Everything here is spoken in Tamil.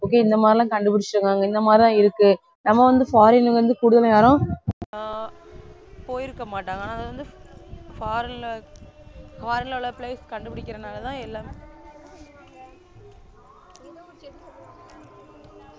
okay இந்த மாதிரி எல்லாம் கண்டு பிடிச்சிருக்காங்க இந்த மாதிரி தான் இருக்கு நம்ம வந்து foreign வந்து கூடுதல் நேரம் ஆஹ் போயிருக்க மாட்டாங்க ஆனா அது வந்து foreign ல உள்ள place கண்டுபிடிக்கிறதுனாலதான் எல்லாமே